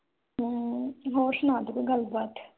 ਹਮ ਹੋਰ ਸੁਣਾ ਦੇ ਕੋਈ ਗੱਲ ਬਾਤ?